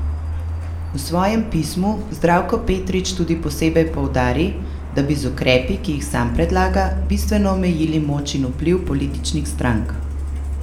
V svojem pismu Zdravko Petrič tudi posebej poudari, da bi z ukrepi, ki jih sam predlaga, bistveno omejili moč in vpliv političnih strank.